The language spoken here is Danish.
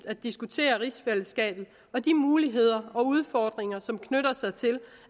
at diskutere rigsfællesskabet og de muligheder og udfordringer som knytter sig til